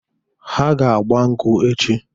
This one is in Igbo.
Ha ga-agba nkwụ echi.